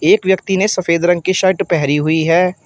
एक व्यक्ति ने सफेद रंग की शर्ट पहरी हुई है।